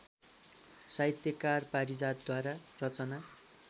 साहित्यकार पारिजातद्वारा रचना